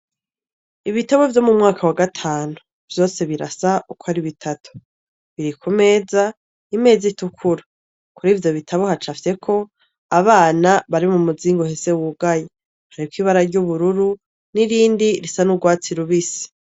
Ibitabo vyo mu mwaka wa gatanu vyose birasa ukwo ari bitatu biri ku meza imeza itukura kuri iyo meza kuri ivyo bitabo hacafyeko abana bari mu muzingi wugaye hariko ibara ry' ubururu n' irindi risa n' ugwatsi rubisi.